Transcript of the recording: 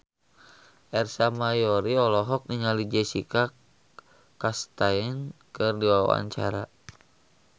Ersa Mayori olohok ningali Jessica Chastain keur diwawancara